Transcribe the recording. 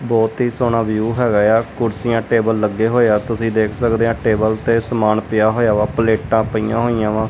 ਬਹੁਤ ਹੀ ਸੋਹਣਾ ਵਿਊ ਹੈਗਾ ਆ ਕੁਰਸੀਆਂ ਟੇਬਲ ਲੱਗੇ ਹੋਏ ਆ ਤੁਸੀਂ ਦੇਖ ਸਕਦੇ ਆ ਟੇਬਲ ਤੇ ਸਮਾਨ ਪਿਆ ਹੋਇਆ ਵਾ ਪਲੇਟਾਂ ਪਈਆਂ ਹੋਈਆਂ ਵਾ।